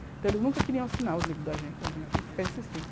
Então, eles nunca queriam assinar o livro da gente, a gente tinha que ficar insistindo.